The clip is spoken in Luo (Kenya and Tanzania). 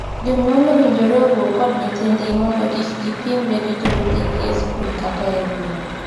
Jonyuol owinjore owuo kod nyithindgi mondo kik kipimre gi jowetegi e skul kata e gweng.